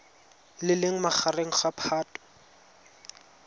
le leng magareng ga phatwe